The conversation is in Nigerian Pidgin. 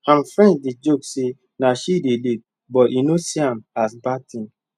im friends dey joke say na she dey lead but e no see am as bad thing